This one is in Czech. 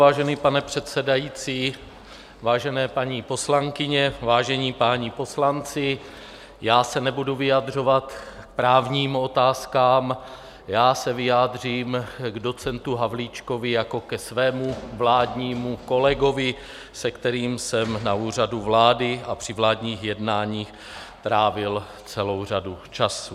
Vážený pane předsedající, vážené paní poslankyně, vážení páni poslanci, já se nebudu vyjadřovat k právním otázkám, já se vyjádřím k docentu Havlíčkovi jako ke svému vládnímu kolegovi, se kterým jsem na Úřadu vlády a při vládních jednáních trávil celou řadu času.